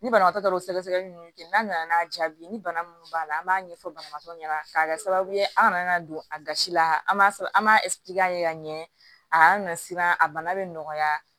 Ni banabaatɔ taara o sɛgɛsɛgɛli ninnu kɛ n'a nana n'a jaabi ni bana minnu b'a la an b'a ɲɛfɔ banabaatɔ ɲɛna k'a kɛ sababu ye aw kana n'a don a gasi la an b'a an b'a ka ɲɛ a na siran a bana bɛ nɔgɔya